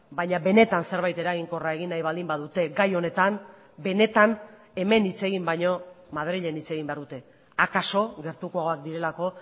baina benetan zerbait eraginkorra egin nahi baldin badute gai honetan benetan hemen hitz egin baino madrilen hitz egin behar dute akaso gertukoak direlako